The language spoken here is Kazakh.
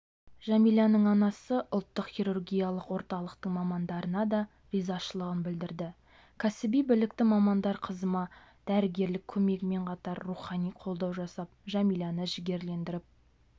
жәмиланың анасы ұлттық хирургиялық орталықтың мамандарына да ризашылығын білдірді кәсіби білікті мамандар қызыма дәрігерлік көмегімен қатар рухани қолдау жасап жәмиланы жігерлендіріп